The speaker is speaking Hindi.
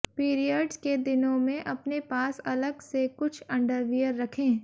पीरियड्स के दिनों में अपने पास अलग से कुछ अंडरवियर रखें